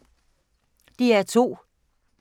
DR2